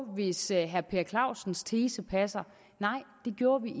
hvis herre per clausens tese passer nej det gjorde vi